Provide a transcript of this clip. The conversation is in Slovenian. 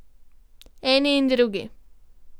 Eni in drugi.